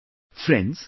Friends,